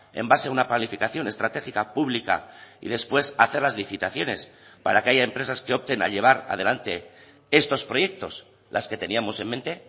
en base a una planificación estratégica pública y después hacer las licitaciones para que haya empresas que opten a llevar adelante estos proyectos las que teníamos en mente